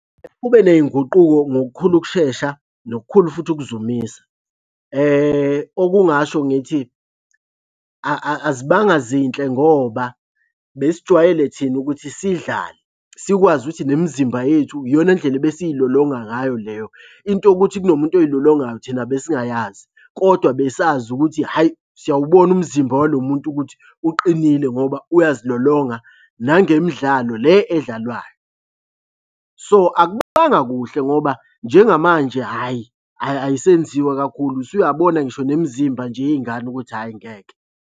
Kube ney'nguquko ngokukhulu ukushesha nokukhulu futhi ukuzumisa okungasho ngithi azibanga zinhle ngoba besijwayele thina ukuthi sidlale. Sikwazi ukuthi nemizimba yethu iyona ndlela ebesilolonga ngayo leyo. Into yokukuthi kunomuntu oy'lolongayo thina besingayazi, kodwa besazi ukuthi hhayi, siyawubona umzimba walo muntu ukuthi uqinile ngoba uyazilolonga nangemidlalo le edlalwayo. So, akubanga kuhle ngoba njengamanje hhayi ayisenziwa kakhulu usuyabona ngisho nemzimba nje yey'ngane ukuthi hhayi ngeke.